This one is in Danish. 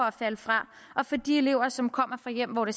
at falde fra og for de elever som kommer fra hjem hvor det